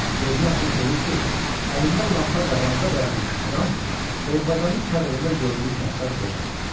Gözünü açıb görür ki, əlində lampa qabağında dayanmış adam Orbazanın çadırında gördüyü kaftar qocadır.